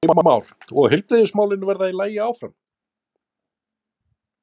Heimir Már: Og heilbrigðismálin verða í lagi áfram?